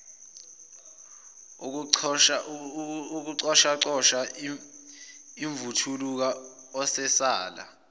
ukucoshacosha imvuthuluka esala